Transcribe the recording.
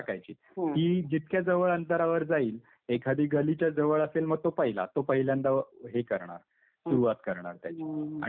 ती जितक्या जवळ अंतरावर जाईल, एखादी गलीच्या जवळ असेल मग तो पहिला. तो पहिल्यांदा हे करणार. सुरुवात करणार त्याची आणि मग बाकीचे.